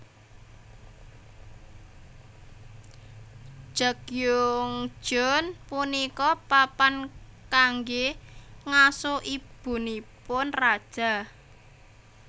Jagyeongjeon punika papan kanggé ngaso ibunipun raja